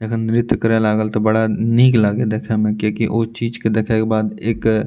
जखन नृत्य करे लागल त बड़ा निक लागल देखे मे कियाकि उ चीज के देखे के बाद एक --